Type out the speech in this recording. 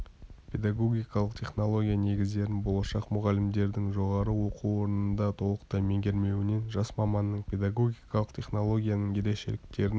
педагогикалық технология негіздерін болашақ мұғалімдердің жоғары оқу орнында толықтай меңгермеуінен жас маманның педагогикалық технологияның ерекшеліктерін